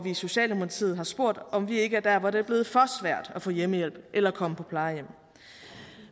i socialdemokratiet har spurgt om vi ikke er hvor det er blevet for svært at få hjemmehjælp eller at komme på plejehjem